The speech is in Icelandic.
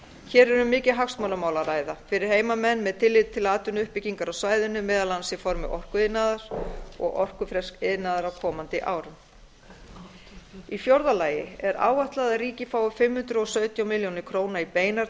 hér er um mikið hagsmunamál að ræða fyrir heimamenn með tilliti til atvinnuuppbyggingar á svæðinu meðal annars í formi orkuiðnaðar og orkufreks iðnaðar á komandi árum í fjórða lagi er áætlað að ríkið fái fimm hundruð og sautján milljónir króna í beinar